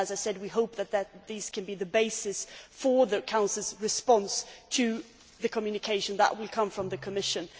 As I said, we hope that these can be the basis for the Council's response to the communication that will come from the Commission.